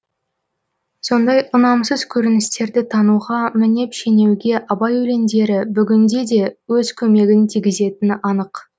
сондай ұнамсыз көріністерді тануға мінеп шенеуге абай өлеңдері бүгінде де өз көмегін тигізетіні анық